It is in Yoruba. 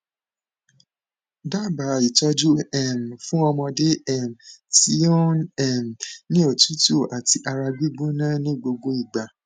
daba itọju um fun ọmọde um ti o n um ni otutu ati ara gbigbona ni gbogbo igba